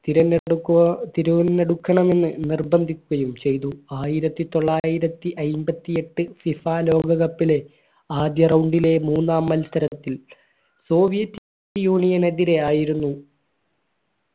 തിരഞ്ഞെടു തിരുവന ടുക്കണമെന്ന് നിർബന്ധിക്കുകയും ചെയ്തു ആയിരത്തിത്തൊള്ളായിരത്തി അയ്ബത്തി എട്ട് FIFA ലോക cup ന് ആദ്യ round ലെ മൂന്നാം മത്സരത്തിൽ soviet union എതിരെ ആയിരുന്നു